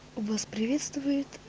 вас приветствует